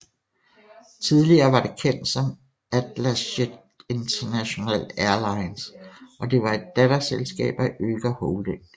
Tidligere var det kendt som Atlasjet International Airlines og det var et datterselskab af Öger Holding